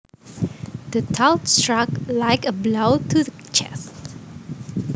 The thought struck like a blow to the chest